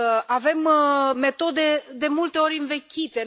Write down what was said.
Avem metode de multe ori învechite.